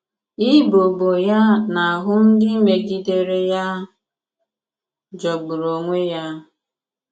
Ịbọ ọbọ ya n’ahụ́ ndị mègidèrè ya jọ̀gbùrù onwè ya.